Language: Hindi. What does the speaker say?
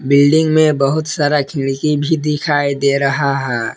बिल्डिंग में बहुत सारा खिड़की भी दिखाई दे रहा है।